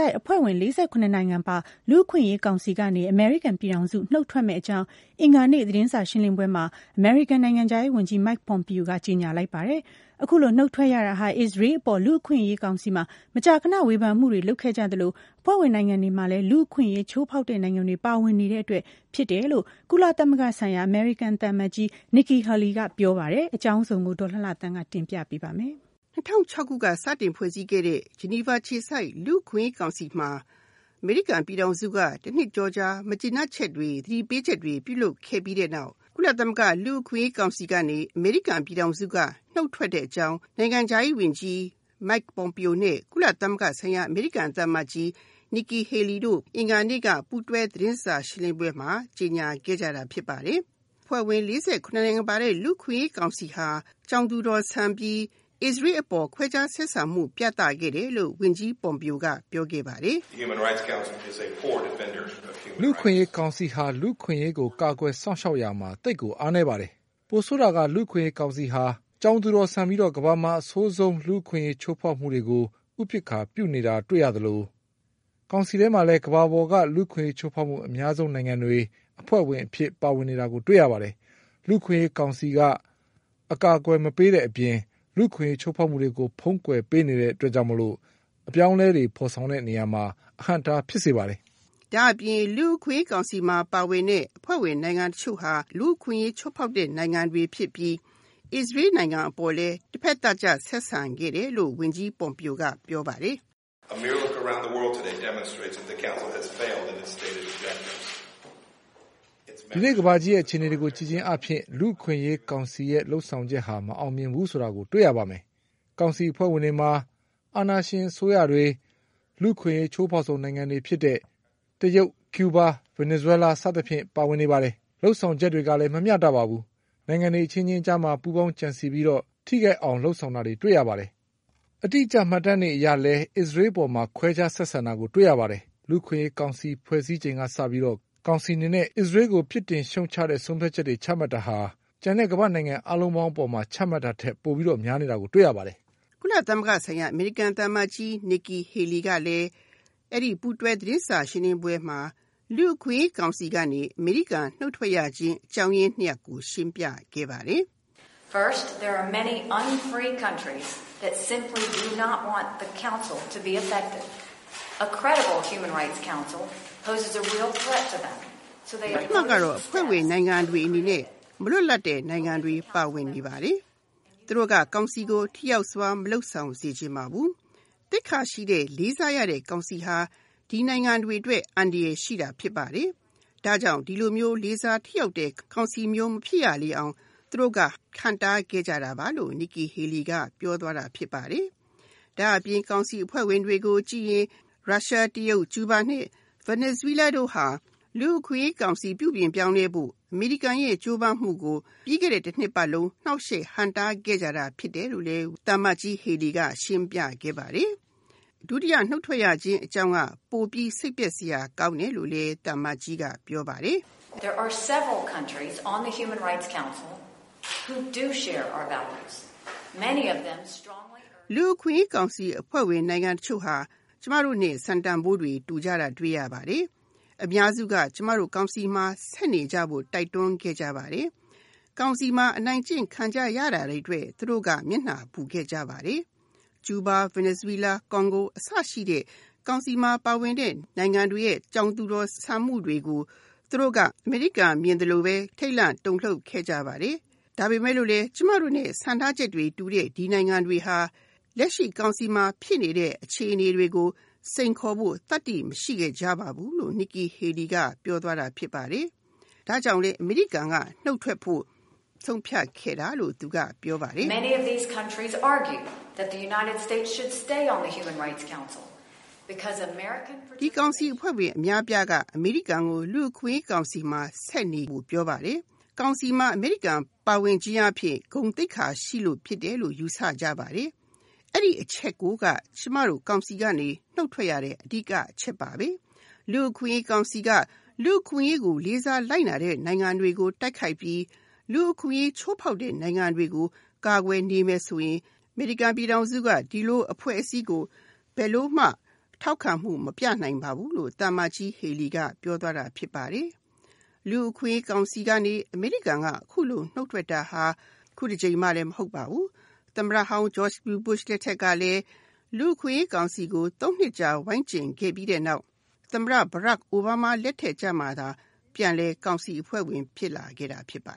ိုက်အဖွဲ့ဝင် ၄၇ နိုင်ငံပါဝင်တဲ့ လူ့အခွင့်အရေးကောင်စီကနေ အမေရိကန်ပြည်ထောင်စု နုတ်ထွက်မယ့်အကြောင်း အင်္ဂါနေ့ သတင်းစာရှင်းလင်းပွဲမှာ အမေရိကန်နိုင်ငံခြားရေးဝန်ကြီး Mike Pompeo ကကြေညာလိုက်ပါတယ်။ အခုလိုနုတ်ထွက်ရတာဟာ အစ္စရေးအပေါ် လူ့အခွင့်အရေးကောင်စီမှာ မကြာခဏ ဝေဖန်မှုတွေ လုပ်ခဲ့ကြသလို အဖွဲ့ဝင်နိုင်ငံတွေမှာလည်း လူ့အခွင့်အရေးချိုးဖောက်တဲ့ နိုင်ငံတွေ ပါဝင်နေတဲ့အတွက်ဖြစ်တယ်လို့ ကုလသမဂ္ဂဆိုင်ရာ အမေရိကန်သံအမတ်ကြီး Nikki Haley က ပြောပါတယ်။ အကြောင်းစုံကို ဒေါ်လှလှသန်းက ဆက်ပြောပြမှာပါ။ ၂၀၁၆ ခုနှစ်ကဖွဲ့စည်းခဲ့တဲ့ Geneva အခြေစိုက် လူ့အခွင့်အရေးကောင်စီမှာ အမေရိကန် ပြည်ထောင်စုက တနှစ်ကျော်ကြာ မကျေနပ်ချက်တွေ သတိပေးချက်တွေ ပြုလုပ်ခဲ့ပြီးတဲ့နောက် ကုလသမဂ္ဂလူ့အခွင့်အရေးကောင်စီကနေ အမေရိကန် ပြည်ထောင်စုက နုတ်ထွက်တဲ့အကြောင်း နိုင်ငံခြားရေးဝန်ကြီး Mike Pompeo နဲ့ ကုလသမဂ္ဂဆိုင်ရာ အမေရိကန်သံအမတ်ကြီး Nikki Haley တို့ အင်္ဂါနေ့က ပူးတွဲသတင်းစာရှင်းလင်းပွဲမှာ ကြေညာခဲ့ပါတယ်။ အဖွဲ့ဝင် ၄၇ နိုင်ငံပါတဲ့ လူ့အခွင့်အရေးကောင်စီဟာ ကြောင်သူတော်ဆန်ပြီး အစ္စရေးအပေါ် ခွဲခြားဆက်ဆံမှု ပြသခဲ့တယ်လို့ ဝန်ကြီး Pompeo က ပြောခဲ့ပါတယ်။ “လူ့အခွင့်အရေးကောင်စီဟာ လူ့အခွင့်အရေးကိုကာကွယ်စောင့်ရှောက်ရာမှာ သိပ်ကိုအားနည်းပါတယ်။ ပိုဆိုးတာက လူ့အခွင့်အရေးကောင်စီဟာ ကြောင်သူတော်ဆန်ပြီး ကမ္ဘာမှာအဆိုးဆုံး လူ့အခွင့်အရေးချိုးဖောက်မှုတွေကို ဥပက္ခာပြုနေတာတွေ့ရသလို ကောင်စီထဲမှာလည်း ကမ္ဘာပေါ်က လူ့အခွင့်အရေးချိုးဖောက်မှု အများဆုံးနိုင်ငံတွေ အဖွဲ့ဝင်အဖြစ်ပါဝင်နေတာကို တွေ့ရပါတယ်။ လူ့အခွင့်အရေးကောင်စီက အကာအကွယ်မပေးတဲ့အပြင် လူ့အခွင့်အရေးချိုးဖောက်မှုတွေကို ဖုံးကွယ်ပေးနေတဲ့အတွက်ကြောင့် အပြောင်းအလဲတွေဖော်ဆောင် တဲ့နေရာမှာ အဟန့်အတားဖြစ်စေပါတယ်။” ဒါ့အပြင် လူ့အခွင့်အရေးကောင်စီမှာ ပါဝင်တဲ့ အဖွဲ့ဝင်နိုင်ငံတချို့ဟာ လူ့အခွင့်အရေးချိုးဖောက်တဲ့ နိုင်ငံတွေဖြစ်ပြီး အစ္စရေးနိုင်ငံအပေါ် တဖက်သတ်ဆက်ဆံခဲ့တယ်လို့ ဝန်ကြီး Pompeo က ပြောခဲ့ပါတယ်။ “ဒီနေ့ကမ္ဘာကြီးအခြေအနေတွေကို ကြည့်ခြင်းအားဖြင့် လူ့အခွင့်အရေးကောင်စီလုပ်ဆောင်ချက်ဟာ မအောင်မြင်ဘူးဆိုတာကို တွေ့ရပါမယ်။ ကောင်စီအဖွဲ့ဝင်တွေမှာ အာဏာရှင်အစိုးရတွေ လူ့အခွင့်အရေးချိုးဖောက်မှုအများဆုံးနိုင်ငံဖြစ်တဲ့ တရုတ်၊ ကျူးဘား၊ ဗင်နီဇွဲလား စသဖြင့်ပါဝင်နေပါတယ်။ လုပ်ဆောင်ချက်တွေကလည်း မမျှတပါဘူး။ နိုင်ငံတွေအချင်းချင်းကြားမှာ ပူးပေါင်းကြံစည်ပြီးတော့ ထိခိုက်အောင်လုပ်ဆောင်တာတွေ တွေ့ရပါတယ်။ အတိအကျမှတ်တမ်းတွေအရလည်း အစ္စရေးနိုင်ငံအပေါ်မှာ ခွဲခြားဆက်ဆံတာကို တွေ့ရပါတယ်။ လူ့အခွင့်အရေးကောင်စီဖွဲ့စည်းချိန်က စပြီးတော့ ကောင်စီအနေနဲ့ အစ္စရေးကို ပြစ်တင်ရှုတ်ချတဲ့ ဆုံးဖြတ်ချက်တွေ ချမှတ်တာဟာ ကျန်တဲ့ ကမ္ဘာ့နိုင်ငံတွေအားလုံး အပေါ်မှာ ချမှတ်တာထက် ပိုပြီးတော့ များနေတာကို တွေ့ရပါတယ်။" ကုလသမဂ္ဂဆိုင်ရာ အမေရိကန်သံအမတ်ကြီး Nikki Haley ကလည်း အဲဒီပူးတွဲသတင်းစာရှင်းလင်းပွဲမှာ လူ့အခွင့်အရေးကောင်စီကနေ အမေရိကန် နုတ်ထွက်ရတဲ့အကြောင်းအရင်း ၂ ရပ်ကို ရှင်းပြပါတယ်။ “ ပထမကတော့ အဖွဲ့ဝင်နိုင်ငံတွေအနေနဲ့ မလွတ်လပ်တဲ့ နိုင်ငံတွေ ပါဝင်နေပါတယ်။ သူတို့က ကောင်စီကို ထိရောက်စွာ မလုပ်ဆောင်စေချင်ပါဘူး။ သိက္ခာရှိတဲ့၊ လေးစားရတဲ့ ကောင်စီဟာ ဒီနိုင်ငံတွေအတွက် အန္တရာယ်ရှိတာဖြစ်ပါတယ်။ ဒါကြောင့် ဒီလိုမျိုးလေးစားထိရောက်တဲ့ ကောင်စီမျိုး မဖြစ်ရအောင် သူတို့က ဟန့်တားခဲ့ကြတာပါ”လို့ Nikki Haley က ပြောသွားပါတယ်။ ဒါ့အပြင် ကောင်စီအဖွဲ့ဝင်တွေကို ကြည့်ရင် ရုရှား ၊ တရုတ်၊ ကျူးဘား နဲ့ ဗင်နီဇွဲလားတို့ဟာ လူ့အခွင့်အရေးကောင်စီပြုပြင်ပြောင်းလဲဖို့ အမေရိကန်ရဲ့ ကြိုးပမ်းမှုကို ပြီးခဲ့တဲ့ တ နှစ်ပတ်လုံး နှောက်ယှက်ဟန့်တားခဲ့တာဖြစ်တယ်လို့ ရှင်ပြခဲ့ပါတယ်။ ဒုတိယနုတ်ထွက်ရခြင်းအကြောင်းက ပိုပြီးစိတ်ပျက်စရာကောင်းတယ်လို့ သူကပြောပါတယ်။ “လူ့အခွင့်အရေးကောင်စီအဖွဲ့ဝင်နိုင်ငံတချို့ဟာ ကျမတို့နဲ့ စံတန်ဖိုးတွေ တူတာတွေ့ရပါတယ်။ အများစုက ကျမတို့ကောင်စီမှာ ဆက်နေဖို့ တိုက်တွန်းခဲ့ပါတယ်။ ကောင်စီမှာ အနိုင်ကျင့်ခံကြရတာတွေအတွက် သူတို့က မျက်နှာပူခဲ့ကြပါတယ်။ ကျူးဘား နဲ့ ဗင်နီဇွဲလား၊ ကွန်ဂို အစရှိတဲ့ ကောင်စီမှာပါဝင်တဲ့ နိုင်ငံတွေရဲ့ ကြောင်သူတော်ဆန်မှုတွေကို သူတို့က အမေရိကန်မြင်သလိုပဲ ထိတ်လန့်တုန်လှုပ်ခဲ့ကြပါတယ်။ ဒါပေမယ့် ကျမတို့နဲ့ စံထားချက်တွေတူတဲ့ ဒီနိုင်ငံတွေဟာ လက်ရှိကောင်စီမှာဖြစ်နေတဲ့အခြေအနေတွေကို စိန်ခေါ်ဖို့ သတ္တိမရှိခဲ့ကြပါဘူး။” လို့ Nikki Haley က ပြောသွားပါတယ်။ ဒါကြောင့် အမေရိကန် ပြည်ထောင်စုက နုတ်ထွက်ခဲ့တာလို့ ပြောပါတယ်။ ဒီကောင်စီအဖွဲ့ဝင်အများအပြားက အမေရိကန်ကို လူ့အခွင့်အရေးကောင်စီမှာဆက်နေဖို့ပြောပါတယ်။ ကောင်စီမှာ အမေရိကန် ပါဝင်ခြင်းအားဖြင့် ဂုဏ်သိက္ခာရှိတယ်လို့ ယူဆကြပါတယ်။ အဲဒီအချက်ကိုက ကျမတို့ ကောင်စီကနေ နုတ်ထွက်ရတဲ့ အဓိကအချက်ဖြစ်တယ်။ လူ့အခွင့်အရေးကောင်စီက လူ့အခွင့်အရေးကိုလေးစားလိုက်နာတဲ့ နိုင်ငံတွေကို တိုက်ခိုက်ပြီး လူ့အခွင့်အရေးချိုးဖောက်တဲ့နိုင်ငံတွေကို ကာကွယ်နေမယ်ဆိုရင် အမေရိကန်ပြည်ထောင်စုက ဒီလိုအဖွဲ့အစည်းကို ဘယ်လိုမှ ထောက်ခံမှုမပြနိုင်ပါဘူး။” လို့ Nikki Haley က ပြောသွားပါတယ်။ လူ့အခွင့်အရေးကောင်စီကနေ အမေရိကန်အခုလို နုတ်ထွက်တာ အခုတကြိမ်မှမဟုတ်ပါဘူး။ သမ္မတဟောင်း George W Bush လက်ထက်ကလည်း လူ့အခွင့်အရေးကောင်စီကို ၃ နှစ်ကြာ ဝိုင်းကြဉ်ပြီးတဲ့နောက် သမ္မတ အိုဘားမားလက်ထက်ကြမှ ကောင်စီအဖွဲ့ဝင် ပြန်လည်ဖြစ်ခဲ့တာဖြစ်ပါ